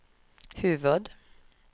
huvud